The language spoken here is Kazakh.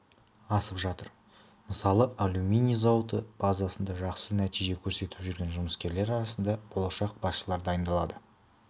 асып жатыр мысалы алюминий зауыты базасында жақсы нәтиже көрсетіп жүрген жұмыскерлер арасынан болашақ басшылар дайындалады